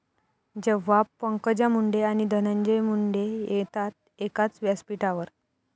...जेव्हा पंकजा मुंडे आणि धनंजय मुंडे येतात एकाच व्यासपीठावर